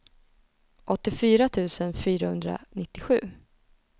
åttiofyra tusen fyrahundranittiosju